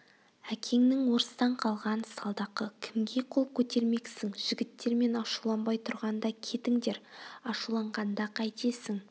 әкеңнің орыстан қалған салдақы кімге қол көтермексің жігіттер мен ашуланбай тұрғанда кетіңдер ашуланғанда қайтесің